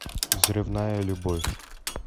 взрывная любовь